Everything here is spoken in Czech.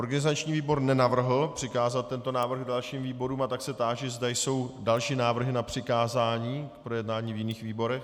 Organizační výbor nenavrhl přikázat tento návrh dalším výborům, a tak se táži, zda jsou další návrhy na přikázání k projednání v jiných výborech.